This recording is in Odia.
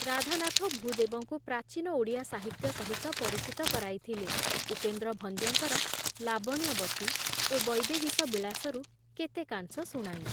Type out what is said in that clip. ରାଧାନାଥ ଭୂଦେବଙ୍କୁ ପ୍ରାଚୀନ ଓଡ଼ିଆ ସାହିତ୍ୟ ସହିତ ପରିଚିତ କରାଇଥିଲେ ଉପେନ୍ଦ୍ର ଭଞ୍ଜଙ୍କର ଲାବଣ୍ୟବତୀ ଓ ବୈଦେହୀଶ ବିଳାସରୁ କେତେକାଂଶ ଶୁଣାଇ ।